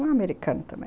Um americano também.